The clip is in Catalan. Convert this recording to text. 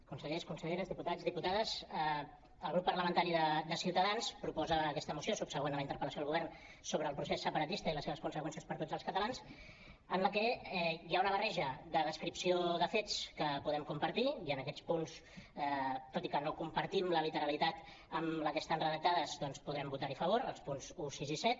consellers conselleres diputats diputades el grup parlamentari de ciutadans proposa aquesta moció subsegüent a la interpel·lació al govern sobre el procés separatista i les seves conseqüències per a tots els catalans en la que hi ha una barreja de descripció de fets que podem compartir i en aquests punts tot i que no compartim la literalitat amb la que estan redactats doncs podrem votar hi a favor els punts un sis i set